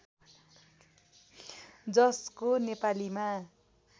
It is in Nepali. जसको नेपालीमा